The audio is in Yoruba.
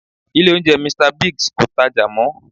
Ilé oúnjẹ Mr. Biggs kò tajà mọ́